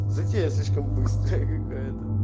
затея слишком быстрая какая-то